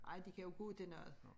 Ej de kan jo gå til noget